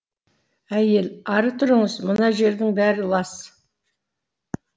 әйел ары тұрыңыз мына жердің бәрі лас